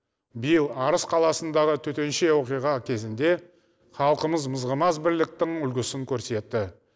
биыл арыс қаласындағы төтенше оқиға кезінде халқымыз мызғымас бірліктің үлгісін көрсетті